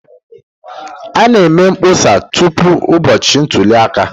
A na-eme mkpọsa tupu ụbọchị ntuli aka.